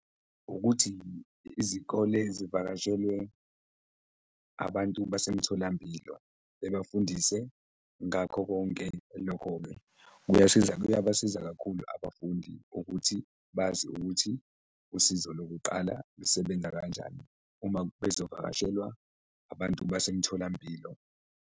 Ukuthi izikole zivakashelwe abantu basemtholampilo, bebafundise ngakho konke, lokho-ke kuyabasiza kakhulu abafundi ukuthi bazi ukuthi usizo lokuqala lusebenza kanjani uma bezovakashelwa abantu basemtholampilo.